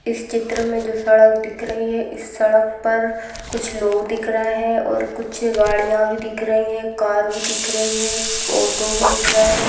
इस चित्र में जो सड़क दिख रही है इस सड़क पर कुछ लोग दिख रहे हैं और कुछ गाड़ियां भी दिख रही है कार भी दिख रही है ऑटो भी दिख रहा है।